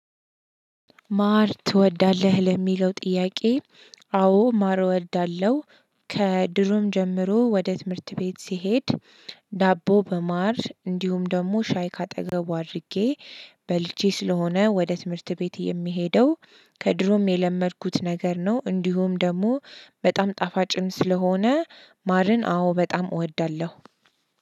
ማር ትወዳለህ ለሚለው ጥያቄ? አዎ ማር እወዳለሁ። ከድሮም ጀምሮ ወደ ትምህርት ቤት ስሄድ ዳቦ በማር እንዲሁም ደግሞ ሻይ ከአጠገቡ አድርጌ በልቼ ስለሆነ ወደ ትምህርት ቤት የምሄደው ከድሮም የለመድኩት ነገር ነው። እንዲሁም ደግሞ በጣም ጣፋጭም ስለሆነ ማርን አዎ በጣም እወዳለሁ።